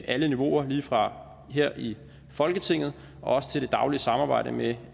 alle niveauer lige fra her i folketinget og også til det daglige samarbejde med